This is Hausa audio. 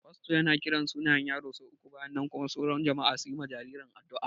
Fasto yana kiran sunayen yaro sau uku bayan nan kuma sauran jama'a su yi wa jaririn addu'a